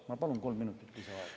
Ma palun kolm minutit lisaaega.